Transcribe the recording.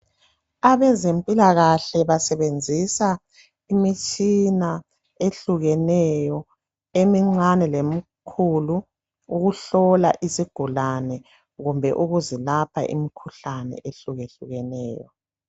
Abezempilakahle basebenzisa imitshina ehlukeneyo emincane lemkhulu ukuhlola isigulane kumbe ukuzilapha imkhuhlane ehlukahlukeneyo.